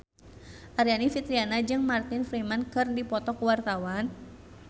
Aryani Fitriana jeung Martin Freeman keur dipoto ku wartawan